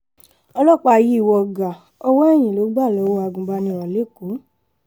ọlọ́pàá yìí wọ gàá ọwọ́ eyín ló gbà lọ́wọ́ agùnbánirò lẹ́kọ̀ọ́